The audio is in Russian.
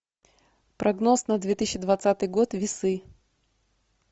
прогноз на две тысячи двадцатый год весы